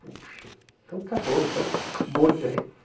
Puxa, então está bom, então toca bonde aí.